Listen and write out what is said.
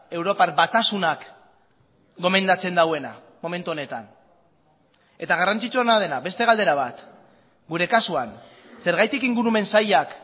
europar batasunak gomendatzen duena momentu honetan eta garrantzitsuena dena beste galdera bat gure kasuan zergatik ingurumen sailak